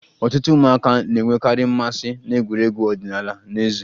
Ọtụtụ ụmụaka na-enwekarị mmasị na egwuregwu ọdịnala n'èzí